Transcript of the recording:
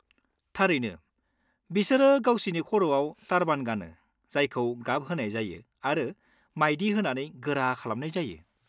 थारैनो, बिसोरो गावसिनि खर'आव टारबान गानो जायखौ गाब होनाय जायो आरो मायदि होनानै गोरा खालामनाय जायो।